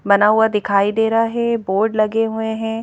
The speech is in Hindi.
बना हुआ दिखाई दे रहा है बोर्ड लगे हुए हैं।